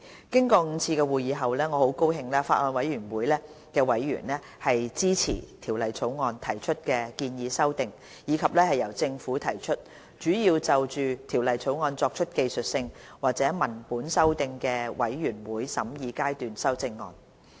經過5次會議後，我很高興法案委員會委員支持《條例草案》提出的建議修訂，以及由政府提出，主要就《條例草案》作出技術性或文本修訂的全體委員會審議階段修正案。